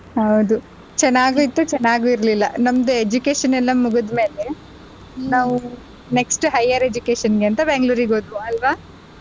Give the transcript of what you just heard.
ಹೌದು ಚೆನ್ನಾಗೂ ಇತ್ತು ಚೆನ್ನಗೂ ಇರಲಿಲ್ಲ ನಮ್ದು education ಎಲ್ಲ ಮುಗ್ದು ಮೇಲೆ ನಾವ್ next higher education ಗೆ ಅಂತ Bangalore ಗೆ ಹೋದ್ವಿ ಅಲ್ವಾ.